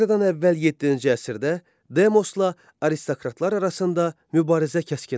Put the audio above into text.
Eradan əvvəl yeddinci əsrdə demosla aristokratlar arasında mübarizə kəskinləşdi.